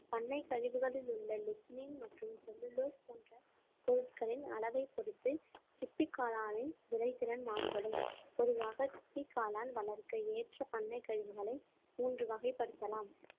பண்ணைக் கழிவுகளில் உள்ள லிட்மின் மற்றும் செல்லுலோஸ் போன்ற பொருட்களின் அளவை பொறுத்து சிப்பி காளானின் விதைத்திறன் மாறுபடும் பொதுவாக சிப்பிக் காளான் வளர்க்க ஏற்ற பண்ணைக் கழிவுகளை மூன்று வகைப்படுத்தலாம்